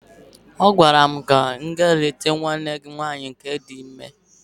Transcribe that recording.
Agwara m gi gaa leta nwanne gi nwaanyị di ime!